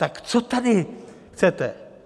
Tak co tady chcete?